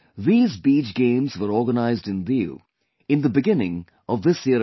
These Beach Games were organized in Diu in the beginning of this year itself